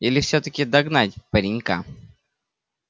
или всё-таки догнать паренька